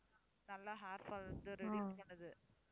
நல்ல hair fall வந்து reduce பண்ணுது